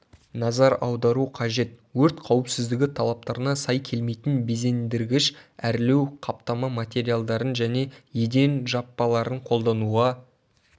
назар аудару қажет өрт қауіпсіздігі талаптарына сай келмейтін безендіргіш-әрлеу қаптама материалдарын және еден жаппаларын қолдануға